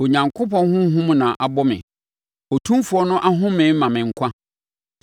Onyankopɔn Honhom na abɔ me; Otumfoɔ no ahome ma me nkwa.